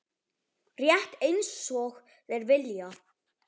Rétt einsog þeir vilja.